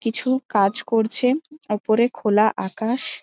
কিছু কাজ করছেন ওপরে খোলা আকাশ।